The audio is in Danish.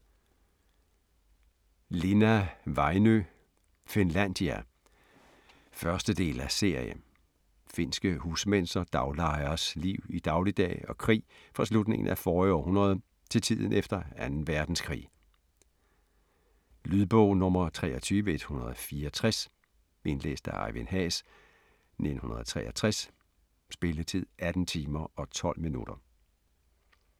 Linna, Väinö: Finlandia 1. del af serie. Finske husmænds og daglejeres liv i dagligdag og krig fra slutningen af forrige århundrede til tiden efter 2. verdenskrig. Lydbog 23164 Indlæst af Ejvind Haas, 1963. Spilletid: 18 timer, 12 minutter.